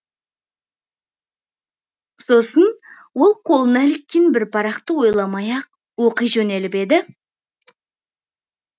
сосын ол қолына іліккен бір парақты ойламай ақ оқи жөнеліп еді